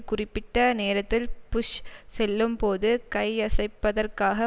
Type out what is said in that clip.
குறிப்பிட்ட நேரத்தில் புஷ் செல்லும்போது கையசைப்பதற்காக